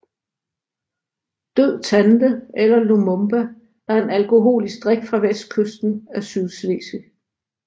Død tante eller lumumba er en alkoholisk drik fra Vestkysten af Sydslesvig